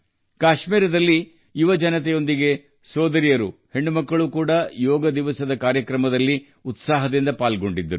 ಕಾಶ್ಮೀರದಲ್ಲಿ ಯುವಕರ ಜತೆಗೆ ಸಹೋದರಿಯರು ಪುತ್ರಿಯರು ಸಹ ಯೋಗ ದಿನದಂದು ಉತ್ಸಾಹದಿಂದ ಪಾಲ್ಗೊಂಡಿದ್ದರು